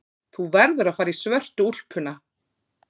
Þú verður að fara í svörtu úlpuna.